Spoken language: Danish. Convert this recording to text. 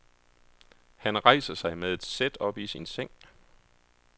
Han rejser sig med et sæt op i sin seng.